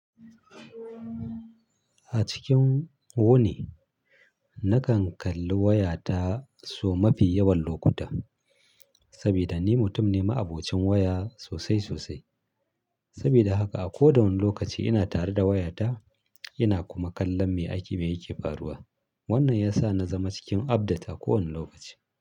A cikin wane nakan kalli wayata sau mafi yawan lokuta. Saboda ni mutum ne ma'abocin waya sosai sosai. Saboda haka a koda wani lokaci ina tare da wayata ina kuma kallon me ake, me yake faruwa. Wannan ya sa na zama cikin update a kowane lokaci.